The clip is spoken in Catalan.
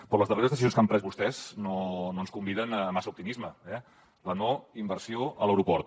però les darreres decisions que han pres vostès no ens conviden a massa optimisme eh la no inversió a l’aeroport